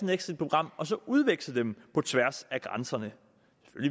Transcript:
et exitprogram så at udveksle dem på tværs af grænserne